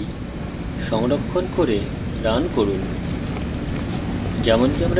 file সংরক্ষণ করে run করুন